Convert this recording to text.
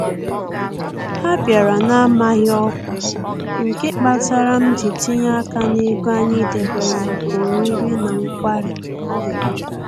Ha bịara na-amaghị ọkwa, nke kpatara m ji tinye aka n'ego anyị debere maka oriri na nkwari